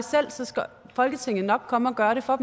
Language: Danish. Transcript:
selv skal folketinget nok komme og gøre det for